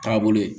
Taabolo ye